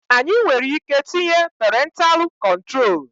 Anyị nwereike tinye perentalụ kọntrol